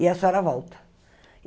E a senhora volta.